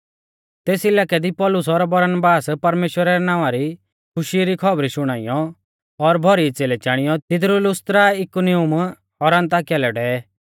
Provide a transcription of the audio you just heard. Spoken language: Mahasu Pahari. तेस इलाकै दी पौलुस और बरनाबास परमेश्‍वरा रै नावां री खुशी री खौबरी शुणाइयौ और भौरी च़ेलै चाणियौ तिदरु लुस्त्रा इकुनियुम और अन्ताकिया लै डेवै